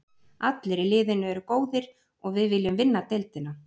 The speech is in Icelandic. Allir í liðinu eru góðir og við viljum vinna deildina.